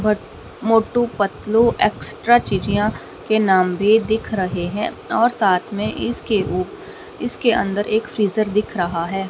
But Motu Patlu extra के नाम भी दिख रहे हैं और साथ में इसके ऊ इसके अंदर एक फ्रीजर दिख रहा है।